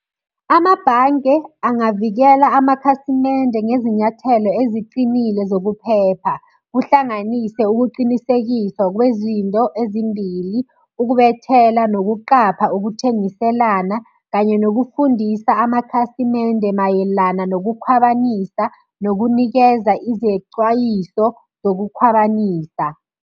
Amabhange angavikela amakhasimende ngezinyathelo eziqinile zokuphepha. Kuhlanganiswe ukuqinisekiswa kwezinto ezimbili, ukubethela, nokuqapha ukuthengiselana, kanye nokufundisa amakhasimende mayelana nokukhwabanisa, nokunikeza izecwayiso zokukhwabanisa.